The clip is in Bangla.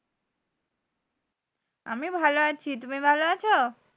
আমি ভালো আছি। তুমি ভালো আছো?